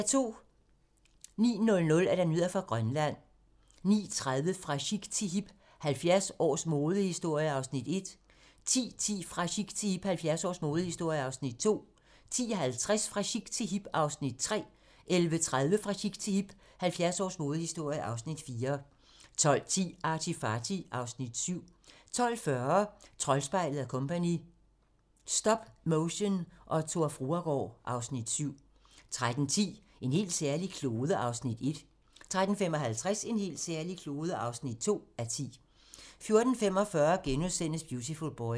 09:00: Nyheder fra Grønland 09:30: Fra chic til hip - 70 års modehistorie (Afs. 1) 10:10: Fra chic til hip - 70 års modehistorie (Afs. 2) 10:50: Fra chic til hip - 70 års modehistorie (Afs. 3) 11:30: Fra chic til hip - 70 års modehistorie (Afs. 4) 12:10: ArtyFarty (Afs. 7) 12:40: Troldspejlet & Co. - Stop motion og Tor Fruergaard (Afs. 7) 13:10: En helt særlig klode (1:10) 13:55: En helt særlig klode (2:10) 14:45: Beautiful Boy *